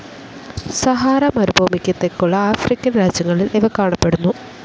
Sahara മരുഭൂമിക്ക് തെക്കുള്ള African രാജ്യങ്ങളിൽ ഇവ കാണപ്പെടുന്നു.